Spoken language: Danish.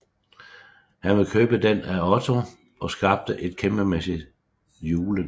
Han vil købe den af Otto og skabe et kæmpemæssigt Juleland